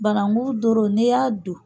Banangu doro n'e y'a don